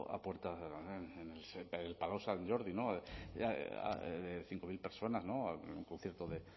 a puerta en el palau sant jordi cinco mil personas un concierto de